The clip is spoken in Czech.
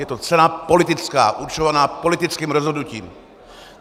Je to cena politická, určovaná politickým rozhodnutím!